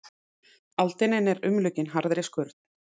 Aldinin eru umlukin harðri skurn.